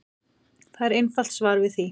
Það er einfalt svar við því.